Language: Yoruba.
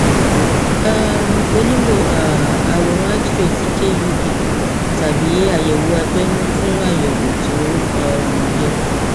um o nílò um àwòrán xray ti kub tàbí àyẹwò abẹnú fún àyẹwò tó um yẹ